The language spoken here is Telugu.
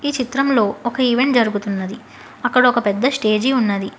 ఈ చిత్రంలో ఒక ఈవెంట్ జరుగుతున్నది అక్కడ ఒక పెద్ద స్టేజి ఉన్నది.